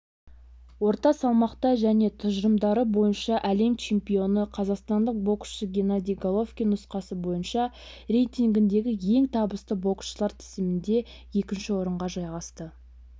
орта салмақта және тұжырымдары бойынша әлем чемпионы қазақстандық боксшы геннадий головкин нұсқасы бойынша рейтингінде ең табысты боксшылар тізімінде екінші орынға жайғасты